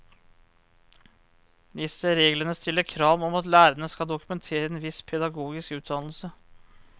Disse reglene stiller krav om at lærerne skal dokumentere en viss pedagogisk utdannelse.